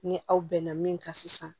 Ni aw bɛnna min kan sisan